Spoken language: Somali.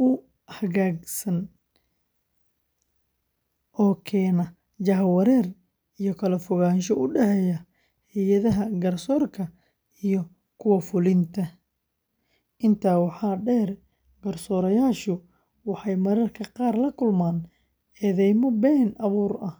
u hagaagsan oo keena jahawareer iyo kala fogaansho u dhaxeeya hay’adaha garsoorka iyo kuwa fulinta. Intaa waxaa dheer, garsoorayaashu waxay mararka qaar la kulmaan eedeymo been abuur ah.